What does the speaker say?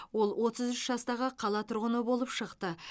ол отыз үш жастағы қала тұрғыны болып шықты